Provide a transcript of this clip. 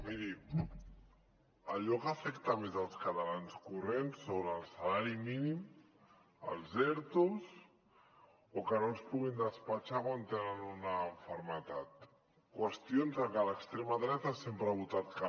miri allò que afecta més els catalans corrents són el salari mínim els ertos o que no els puguin despatxar quan tenen una malaltia qüestions a què l’extrema dreta sempre ha votat que no